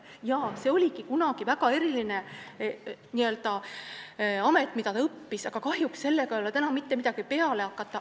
" Jah, see oligi kunagi väga eriline amet, mida ta õppis, aga kahjuks ei ole sellega täna mitte midagi peale hakata.